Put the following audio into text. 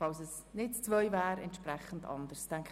Falls nicht die Ziffer 2 obsiegt, gehen wir anders vor.